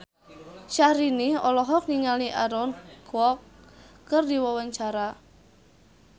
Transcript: Syahrini olohok ningali Aaron Kwok keur diwawancara